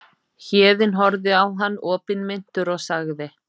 Héðinn horfði á hann opinmynntur og sagði